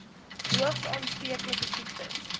hoogs aansteeklike siektes